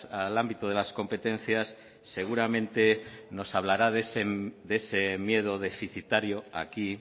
al ámbito de las competencias seguramente nos hablará de ese miedo deficitario aquí